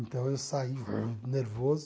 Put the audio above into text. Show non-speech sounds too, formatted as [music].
Então eu saí [unintelligible] nervoso.